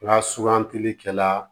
Nka sugantili kɛla